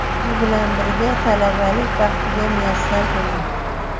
Biz bilan birga talabalik baxtiga muyassar bo‘ling!